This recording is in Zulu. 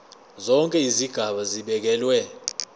zonke izigaba zibekelwe